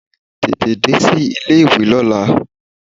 Tètè dé sí ilé ìwé lọ́la!